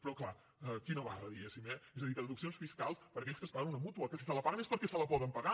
però clar quina barra diguéssim eh és a dir que les deduccions fiscals per a aquells que es paguen una mútua que si se la paguen és perquè se la poden pagar